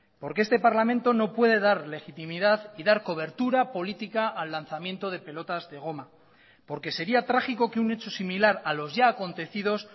porque este parlamento no puede dar legitimidad y dar cobertura política al lanzamiento de pelotas de goma porque sería trágico que un hecho similar a los ya acontecidos